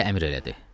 deyə əmr elədi.